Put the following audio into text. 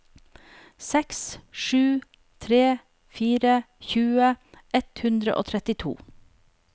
seks sju tre fire tjue ett hundre og trettito